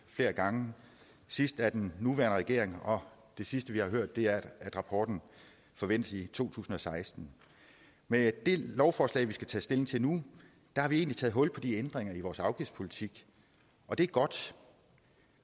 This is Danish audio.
flere gange sidst af den nuværende regering og det sidste vi har hørt er at rapporten forventes i to tusind og seksten med det lovforslag vi skal tage stilling til nu har vi egentlig taget hul på de ændringer i vores afgiftspolitik og det er godt